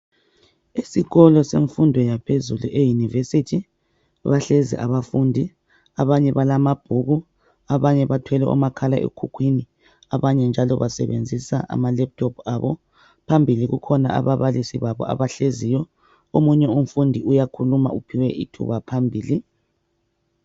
Esikolo semfundo yaphezulu eYunivesi, bahlezi abafundi. Abanye balamabhuku, abanye bathwele omakhala ekhukhwini, abanye njalo basebenzisa ama"laptop' abo. Phambili kukhona ababalisi babo abahleziyo. Omunye umfundi uyakhuluma uphiwe ithuba phambili.